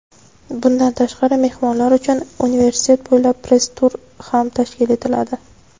Bundan tashqari mehmonlar uchun universitet bo‘ylab press-tur ham tashkil etiladi.